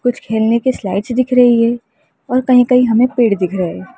कुछ खेलने की स्लाइड्स दिख रही हैं और कहीं कहीं हमें पेड़ दिख रहे हैं।